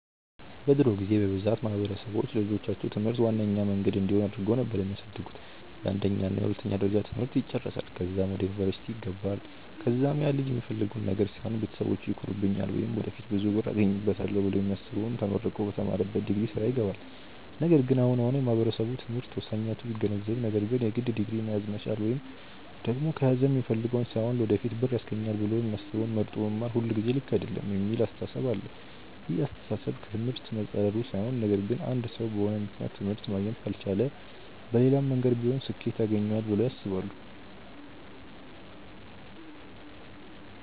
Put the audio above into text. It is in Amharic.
በድሮ ጊዜ በብዛት ማህበረሰብ ለልጆቻቸው ትምህርት ዋነኛ መንገድ እንዲሆን አድርገው ነበር የሚያሳድጉት፤ የአንደኛ እና የሁለተኛ ደረጃ ትምህርት ይጨረሳል ከዛም ወደ ዩኒቨርስቲ ይገባል ከዛም ያልጅ የሚፈልገውን ነገር ሳይሆን ቤተሰቢቼ ይኮሩብኛል ወይም ወደፊት ብዙ ብር አገኝበታለው ብሎ የሚያስበውን ተመርቆ በተማረበት ዲግሪ ስራ ይገባል። ነገር ግን አሁን አሁን ማህበረሰቡ ትምህርት ወሳኝነቱን ቢገነዘብም ነገር ግን የግድ ዲግሪ መያዝ መቻል ወይም ደግም ከያዘም የሚፈልገውን ሳይሆን ለወደፊት ብር ያስገኘኛል ብሎ የሚያስበውን መርጦ መማር ሁልጊዜ ልክ አይደለም የሚል አስተሳሰብ አለ። ይህ አስተሳሰብ ከ ትምህርት መፃረሩ ሳይሆን ነገር ግን አንድ ሰው በሆነ ምክንያት ትምህርት ማግኘት ካልቻለ መሌላም መንገድ ቢሆን ስኬት ያገኘዋል ብለው ያስባሉ።